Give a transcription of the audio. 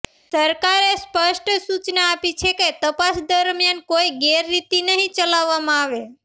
સરકારે સ્પષ્ટ સુચના આપી છે કે તપાસ દરમિયાન કોઈ ગેરરીતિ નહિં ચલાવવામાં આવે